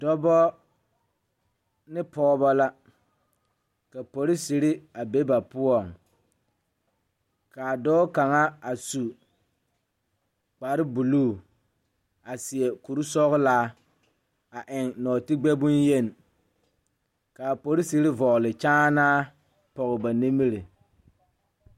Dɔbɔ ne pɔɔbɔ la ka poriserre a be ba poɔŋ kaa dɔɔ kaŋa a su kparebluu a seɛ kurisɔglaa a eŋ nɔɔtigbɛ bonyeni kaa poriserre vɔgle kyaanaa pɔge ba nimiri.